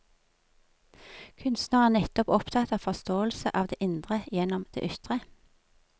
Kunstnere er nettopp opptatt av forståelse av det indre gjennom det ytre.